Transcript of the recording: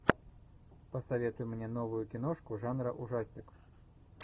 посоветуй мне новую киношку жанра ужастик